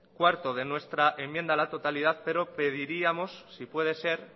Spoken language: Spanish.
cuatro de nuestra enmienda a la totalidad pero pediríamos si puede ser